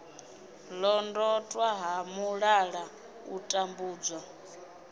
londotwa ha mulala u tambudzwa